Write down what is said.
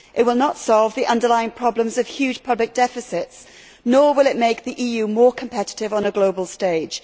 It will not solve the underlying problems of huge public deficits, nor will it make the EU more competitive on a global stage.